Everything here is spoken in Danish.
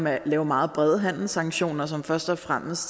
at lave meget brede handelssanktioner som først og fremmest